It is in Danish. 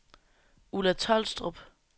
Ulla Tolstrup